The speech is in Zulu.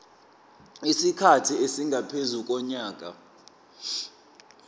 isikhathi esingaphezu konyaka